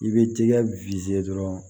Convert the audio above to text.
I bɛ tigɛ dɔrɔn